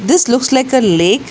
This looks like a lake.